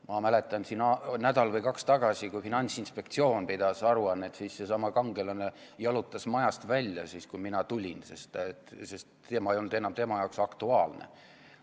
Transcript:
Ma mäletan, et nädal või kaks tagasi, kui Finantsinspektsioon esitas aruannet, siis seesama kangelane jalutas majast välja, kui mina tulin, sest teema ei olnud tema jaoks enam aktuaalne.